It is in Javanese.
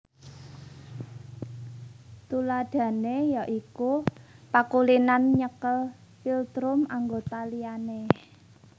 Tuladhané ya iku pakulinan nyekel philtrum anggota liyane